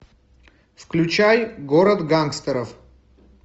включай город гангстеров